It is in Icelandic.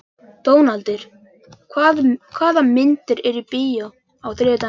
Dónaldur, hvaða myndir eru í bíó á þriðjudaginn?